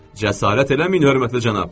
Cəsarət eləməyin, hörmətli cənab.